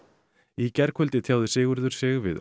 í gærkvöld tjáði Sigurður sig við